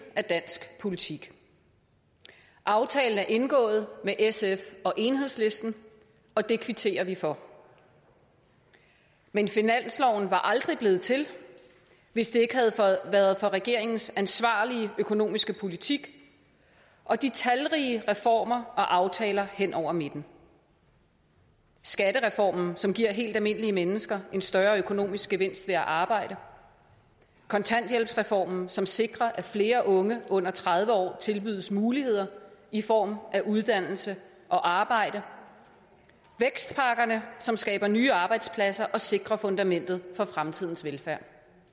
af dansk politik aftalen er indgået med sf og enhedslisten og det kvitterer vi for men finansloven var aldrig blevet til hvis det ikke havde været for regeringens ansvarlige økonomiske politik og de talrige reformer og aftaler hen over midten skattereformen som giver helt almindelige mennesker en større økonomisk gevinst ved at arbejde kontanthjælpsreformen som sikrer at flere unge under tredive år tilbydes muligheder i form af uddannelse og arbejde vækstpakkerne som skaber nye arbejdspladser og sikrer fundamentet for fremtidens velfærd